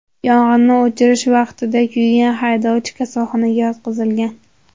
Yong‘inni o‘chirish vaqtida kuygan haydovchi kasalxonaga yotqizilgan.